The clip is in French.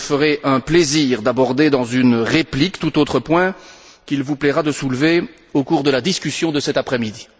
Je me ferai un plaisir d'aborder dans une réplique tout autre point qu'il vous plaira de soulever au cours de la discussion de cet après midi.